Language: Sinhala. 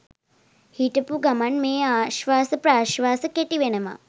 හිටපු ගමන් මේ ආශ්වාස ප්‍රශ්වාස කෙටි වෙනවා.